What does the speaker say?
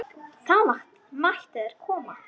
Það gerðir þú.